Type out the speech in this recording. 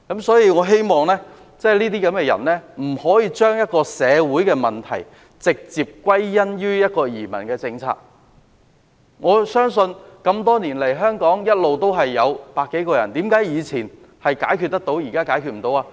所以，我希望這些人不要將社會問題直接歸因於移民政策，我相信這麼多年來，香港每天一直有百多人來港，為何以前問題可以解決得到，現在解決不到呢？